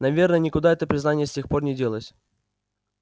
наверное никуда это признание с тех пор не делось